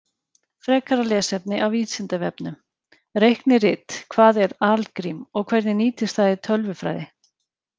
Frekara lesefni af Vísindavefnum: Reiknirit Hvað er algrím og hvernig nýtist það í tölvufræði?